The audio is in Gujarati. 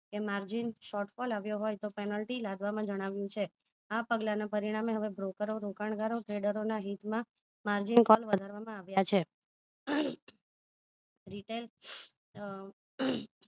કે margin short માં લાવ્યો હોય તો panlty લાગવામાં જણાવ્યું છે આ પગલા ના પરિણામે હવે broker ઓ રોકાણગારો treader ઓ ના હિત માં margin વધારવામાં આવ્યા છે retail